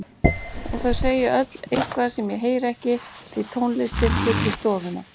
Og þau segja öll eitthvað sem ég heyri ekki því tónlistin fyllir stofuna.